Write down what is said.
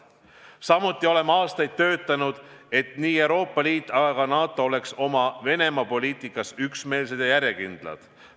Samuti oleme aastaid töötanud, et nii Euroopa Liit kui ka NATO oleks oma Venemaa-poliitikas üksmeelsed ja järjekindlad.